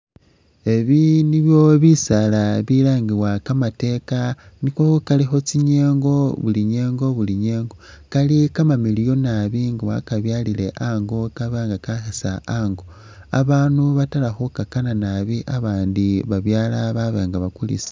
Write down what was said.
Ebi nibyo bisaala bilangibwa kamateeka ,niko kalikho tsi'nyengo buli nyengo buli nyengo ,kali kamamiliyu nabi nga wakabyalile ango kaba nga kakhisa ango, abanu batala khukakana abandi babyala baba nga bakulisa